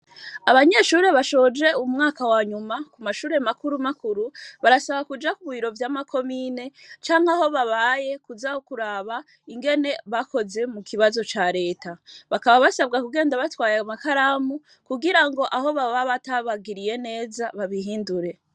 Abanyeshure bashoje umwaka wanyuma ku mashure makuru makuru barasaba kuja ku bwiro vy'amakomine canke aho babaye kuzakuraba ingene bakoze mu kibazo ca leta bakaba basabwa kugenda batwaye makaramu kugira ngo aho baba batabagiriye neza babihindure.